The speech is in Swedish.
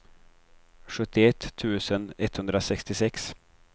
sjuttioett tusen etthundrasextiosex